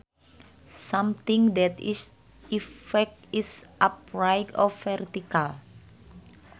Something that is erect is upright or vertical